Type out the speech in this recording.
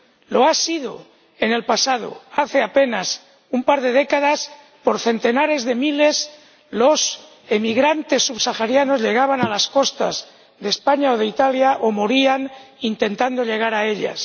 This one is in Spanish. Lo ha sido en el pasado hace apenas un par de décadas, por centenares de miles, los emigrantes subsaharianos llegaban a las costas de España o de Italia o morían intentando llegar a ellas.